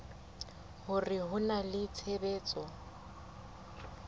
hore ho na le tshebetso